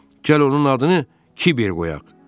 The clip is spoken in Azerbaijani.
Gəl onun adını Kiber qoyaq.